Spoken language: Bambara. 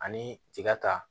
Ani tiga ta